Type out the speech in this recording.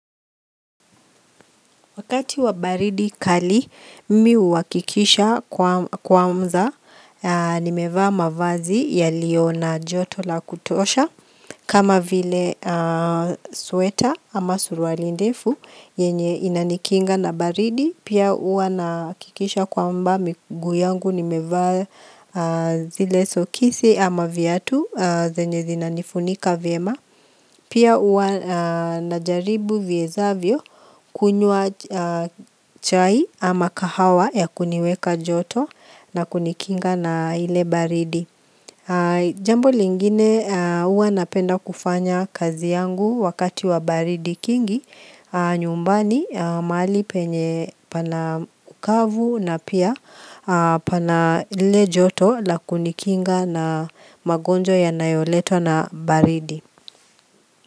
Wakati wa baridi kali, mimi huwakikisha kwamza, nimevaa mavazi yalio na joto la kutosha. Kama vile sweta ama surwali ndefu, yenye inanikinga na baridi, pia uwa nakikisha kwamba miguu yangu, nimevaa zile sokisi ama vyatu, zenye zinanifunika vyema. Pia ua najaribu viezavyo kunyua chai ama kahawa ya kuniweka joto na kunikinga na ile baridi. Jambo lingine ua napenda kufanya kazi yangu wakati wa baridi kingi. Nyumbani mahali penye pana ukavu na pia pana ile joto na kunikinga na magonjo ya nayoletwa na baridi.